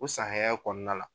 O san hɛya kɔɔna la